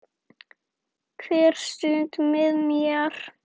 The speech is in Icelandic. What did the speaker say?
Hver stund með þér.